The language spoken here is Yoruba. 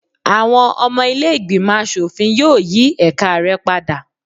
Àwọn ọmọ ilé ìgbìmọ̀ aṣòfin yóò yí ẹ̀ka rẹ padà